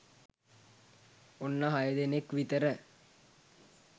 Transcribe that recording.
ඔන්න හය දෙනෙක් විතර